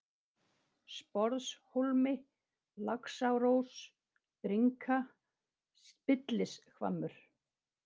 Sporðshólmi, Laxárós, Brynka, Spillishvammur